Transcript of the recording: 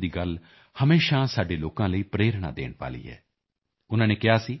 ਵੱਲਭ ਭਾਈ ਪਟੇਲ ਦੀ ਗੱਲ ਹਮੇਸ਼ਾ ਸਾਡੇ ਲੋਕਾਂ ਲਈ ਪ੍ਰੇਰਣਾ ਦੇਣ ਵਾਲੀ ਹੈ ਉਨ੍ਹਾਂ ਨੇ ਕਿਹਾ ਸੀ